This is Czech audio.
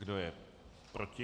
Kdo je proti?